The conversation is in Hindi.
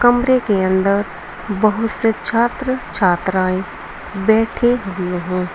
कमरे के अंदर बहुत से छात्र छात्राएं बैठे हुए हैं।